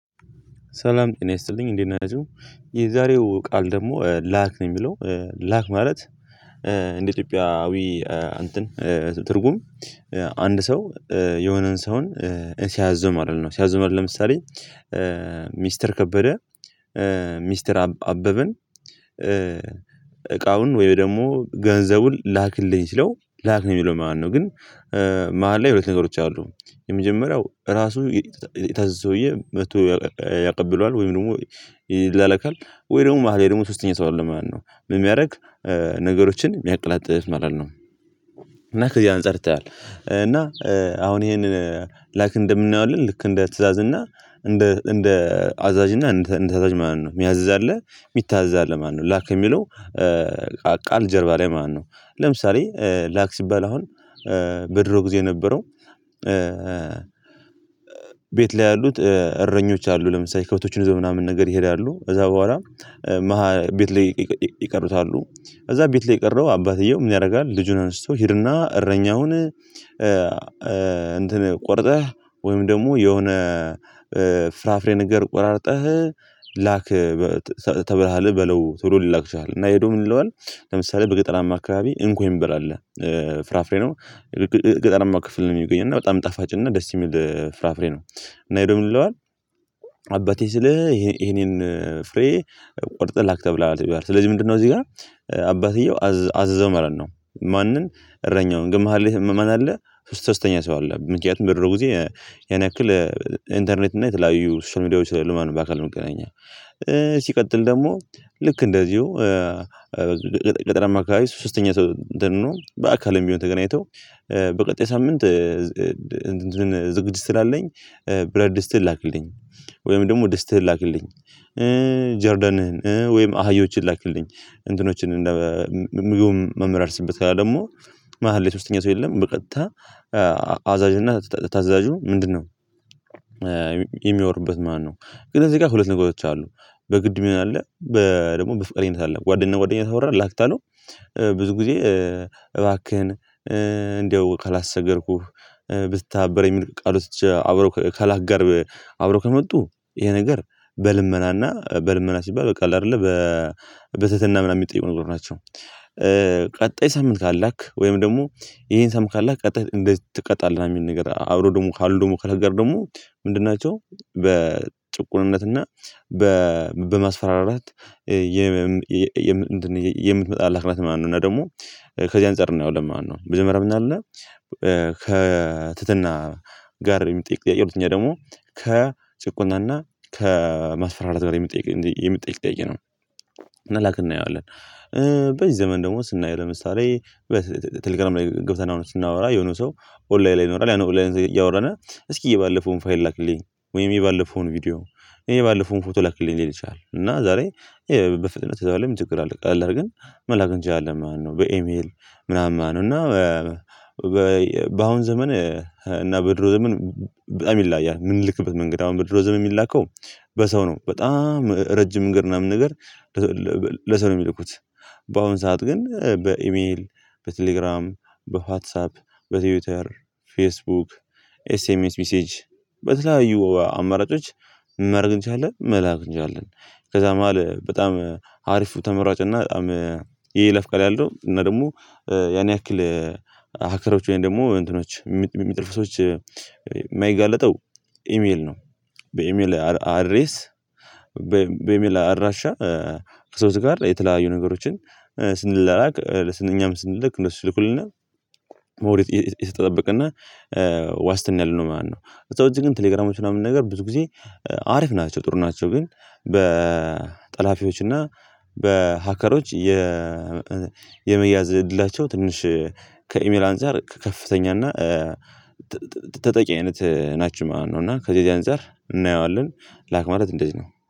ሰላም ጤና ይስጥልኝ እንዴት ነው የሚለው? የዛሬው ቃል ደግሞ ላክ ነው የሚለው ላክ ማለት። ኢትዮጵያዊ አብዬ እንትን ትርጉም። አንድ ሰው የሆነን ሰውን ስያዘው ማለት ነው። ስያዘው ማለት ለምሳሌ። ሚስተር ከበደ ሚስተር አበበን። እቃውን ወይ ደግሞ ገንዘቡን ላክልኝ ሲለው ላክልኝ ብሎ ማለት ነው። ግን። መሃል ላይ ሁለት ነገሮች አሉ። የመጀመሪያው ራሱ የታዘዘው ሰውዬ መጥቶ ያቀብሏል ወይም ደግሞ ይላለካል። ወይ ደግሞ መሃል ላይ ደግሞ ሶስተኛ ሰው አለ ማለት ነው። ምን የሚያደርግ ነገሮችን የሚያቀላጥፍ ማለት ነው። እና ከዚህ አንፃር ይታያል። እና አሁን ይሄንን ላክ እንደምናየው ልክ እንደ ትእዛዝ እና እንደ እንደ አዛዥ እና እንደ እንደ ታች ማለት ነው የሚያዝዛለህ የሚታዝዛለህ ማለት ላክ የሚለው። ቃል ጀርባ ላይ ማነው? ለምሳሌ ላክ ሲባል አሁን በድሮ ጊዜ የነበረው። ቤት ላይ ያሉት እረኞች አሉ ለምሳሌ ከቶችን ይዘው ምናምን ነገር ይሄዳሉ። እዛ በኋላ ቤት ላይ ይቀሩታሉ። እዛ ቤት ላይ የቀረው አባትየው ምን ያደርጋል ልጁን አንስተው ይሄድና እረኛውን እንትን ቆርጠህ ወይም ደግሞ የሆነ ፍራፍሬ ነገር ቆራርጠህ ላክ። ተብለሃል በለው ትሉ ሊላክ ይችላል። እና ሄዶ ምን ይለዋል? ለምሳሌ በገጠራማ አካባቢ እንኮይ እንበላለን ፍራፍሬ ነው። ገጠራማ ክፍል ነው የሚገኝ እና በጣም ጣፋጭ እና ደስ የሚል ፍራፍሬ ነው። እና ሂደው ምን ይለዋል? አባቴ ስልህ ይሄንን ፍሬ ቆርጠህ ላክ ተብላሃል ሲባል ስለዚህ ምንድነው እዚህ ጋር አባቴው አዘዘ ማለት ነው። ማንን? እረኛውን ግን ማሃል ላይ ማን አለ? ሶስተኛ ሰው አለ። ምክንያቱም ብዙ ጊዜ ያክል ኢንተርኔት እና የተለያዩ ሶሻል ሚዲያዎች ስለሌሉ ማለት ነው። በአካል መገናኛ ሲቀጥል ደግሞ ልክ እንደዚሁ። ገጠራማ አካባቢ ሶስተኛ ሰው ደግሞ በአካል የሚሆን ተገናኝተው። በቀጣይ ሳምንት። ዝግጅት ስላለኝ ብረትድስትህን ላክልኝ ወይም ደግሞ ድስትህን ላክልኝ። ጀርደንህን ወይም አህዮችን ላክልኝ እንትኖችን ምግብ መመላልስበት ደግሞ መሃል ላይ ሶስተኛ ሰው የለም። በቀጥታ አዛዥ እና ታዛዡ ምንድነው? የሚያወርበት ማለት ነው። ግን እዚህ ጋር ሁለት ነገሮች አሉ። በግድ ምን አለ በደግሞ በፍቃቃኝት አለ ጓደኛ ጓደኛ ታወራ ላክታለው። ብዙ ጊዜ እባክህን እንደው ከላሰቸገርኩህ ብትተባበረኝ የሚልቅ ቃል አብረህ ከላጋር አብረህ ከመጡህ ይሄ ነገር በልመናና በልመና ሲባል በቃል አይደለ በበተተና ምናምን የሚጠይቁ ነገር ናቸው። ቀጣይ ሳምንት ካላክ ወይም ደግሞ ይሄን ሳምንት ካላክ ቀጣይ እንድትቀጣለህ የሚል ነገር ነገር አብሮ ደግሞ ካልሆነ ደግሞ ከነገር ደግሞ ምንድን ናቸው። በጥቁርነትና በ በማስፈራራት። የም እንትን ይሄ የምትመጣላክ ማለት ነው። ሆነ ደግሞ ከዚህ አንፃር ነው ያው ለማን ነው መጀመርያ ምን አለ ከ ከትህትና ጋር የሚጠይቅ የሆነ ደግሞ ከጭቆናና ከመስፈራራት በላይ የሚጠይቅ የሚጠይቅ ጥያቄ ነው። እና ላክ እናየዋለን። በዚህ ዘመን ደግሞ ስናየው ለምሳሌ በቴሌግራም ላይ ገብተናል ስናወራ የሆነ ሰው ኦንላይን ላይ ይኖራል ያን ኦንላይ እያወራን እስኪ የባለፈውን ፋይል ላክልኝ ወይም የባለፈውን ቪዲዮ የባለፈውን ፎቶ ላክልኝ ሊል ይችላል። እና ዛሬ በፍጥነት እዛ በላይ ምን ምንጭቅር አለብህ ግን መላክ እንጃ አለ ማለት ነው። በኢሜል ምናምን ማለት ነው። እና በአሁኑ ዘመን እና በድሮ ዘመን በጣም ይላል ያ የምንልክበት መንገድ አሁን በድሮ ዘመን የሚላከው በሰው ነው። በጣም ረጅም እግር ምናምን ነገር። ለሰው ነው የሚልኩት። በአሁኑ ሰዓት ግን በኢሜል በቴሌግራም በዋትሳፕ በትዊተር ፌስቡክ ኤስኤምኤስ ሚሴጅ በተለያዩ አማራጮች ምን ማረግ እንችላለን መላክ እንችላለን። ከዛ መሃል በጣም አሪፉ ተመሯጭ እና በጣም ይለፍ ቃል ያለው እና ደግሞ ያን ያክል ሀከሮች ወይም ደግሞ እንትኖች የሚጠልፉ ሰዎች የማይጋለጠው ኢሜል ነው። በኢሜል አድሬስ በሚል አድራሻ ከሰዎች ጋር የተለያዩ ነገሮችን ስንላላክ እኛም ስንልክ እንሱ ይልኩልናል። ሞሪት የሰጠ ጠበቅና ዋስትና ያው ማለት ነው። እዛው እዚህ ግን ቴሌግራሞች ምናምን ነገር ብዙ ጊዜ አሪፍ ናቸው ጥሩ ናቸው። ግን በጠላፊዎች እና በሃከሮች የ የመያዝ እድላቸው ትንሽ ከኢሜል አንፃር ከከፍተኛ እና ተጠቂ አይነት ናችው ማለት ነው። እና ከዚህ ያን ዛር እናየዋለን። ላክ ማለት እንደዚህ ነው።